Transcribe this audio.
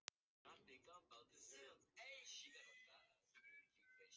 Kirsten, er bolti á miðvikudaginn?